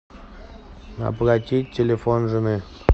оплатить телефон жены